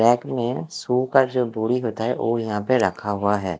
Rack में shoe का जो बोरी होता है ओ यहाँ पे रखा हुआ है।